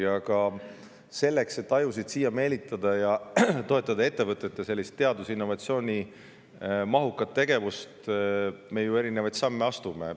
Aga selleks, et ajusid siia meelitada ning toetada ettevõtete teadus‑ ja innovatsioonimahukat tegevust, me ju erinevaid samme astume.